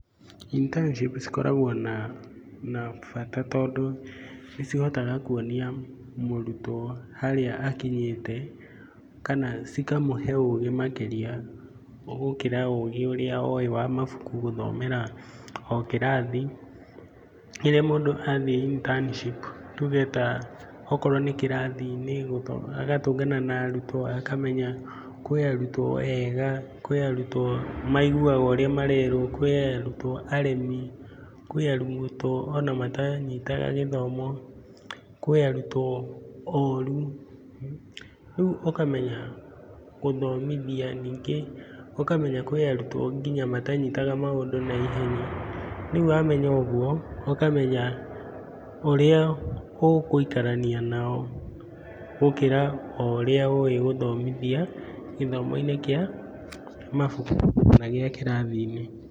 Internship cikoragwo na bata, tondũ nĩ cihotaga kuonia mũrutwo harĩa akinyĩte, kana cikamũhe ũgĩ makĩria gũkĩra ũgĩ ũrĩa owĩ wa mabuku gũthomera o kĩrathi. Rĩrĩa mũndũ athiĩ internship, tuge ta okorwo nĩ kĩrathi-inĩ agatũngana na arutwo akamenya kwĩ arutwo ega, kwĩ arutwo maiguaga ũrĩa marerwo, kwĩ arutwo aremi, kwĩ arutwo ona mataranyita gĩthomo, kwĩ arutwo oru. Rĩu ũkamenya gũthomithia, ningĩ ũkamenya kwĩ arutwo matanyitaga maũndũ na ihenya. Rĩu wamenya ũguo, ũkamenya ũrĩa gũikarania nao, gũkĩra o ũrĩa ũwĩ gũthomithia gĩthomo-inĩ kĩa mabuku kana gĩa kĩrathi-inĩ.